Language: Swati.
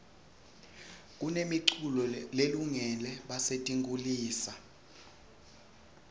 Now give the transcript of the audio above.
kunemi culo lelungore basetinkhulisa